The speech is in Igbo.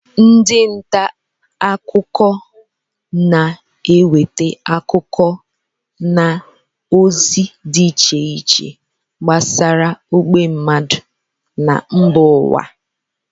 Ndị ntaakụkọ na-eweta akụkọ na ozi dị iche iche gbasara ógbè mmadụ na mba ụwa